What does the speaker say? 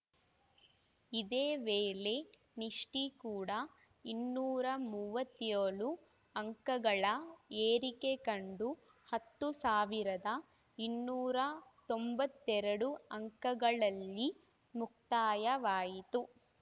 ಇದೇ ವೇಳೆ ನಿಫ್ಟಿಕೂಡಾ ಇನ್ನೂರ ಮೂವತ್ಯೋಳು ಅಂಕಗಳ ಏರಿಕೆ ಕಂಡು ಹತ್ತು ಸಾವಿರದ ಇನ್ನೂರ ತೊಂಬತ್ತೆರಡು ಅಂಕಗಳಲ್ಲಿ ಮುಕ್ತಾಯವಾಯಿತು